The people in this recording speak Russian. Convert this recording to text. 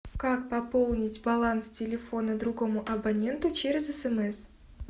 как пополнить баланс телефона другому абоненту через смс